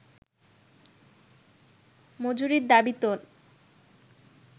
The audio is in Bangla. মজুরির দাবি তোল